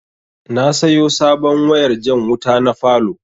Na sayo sabon wayar jan wuta na falow